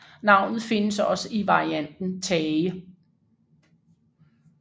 Navnet findes også i varianten Thage